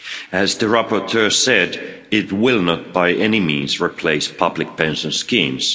As the rapporteur said, it will not, by any means, replace public pension schemes.